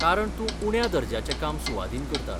कारण तूं उण्या दर्ज्याचें काम सुवादीन करता.